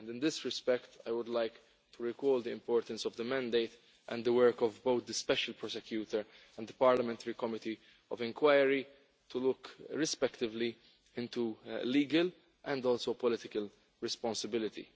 In this respect, I would like to recall the importance of the mandate and the work of both the Special Prosecutor and the parliamentary committee of inquiry to look respectively into legal and also political responsibility.